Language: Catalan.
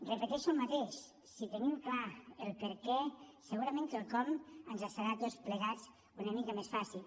repeteixo el mateix si tenim clar el perquè segurament que el com ens serà a tots plegats una mica més fàcil